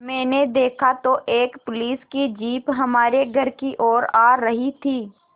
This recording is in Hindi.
मैंने देखा तो एक पुलिस की जीप हमारे घर की ओर आ रही थी